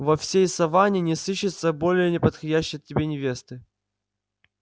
во всей саванне не сыщется более неподходящей тебе невесты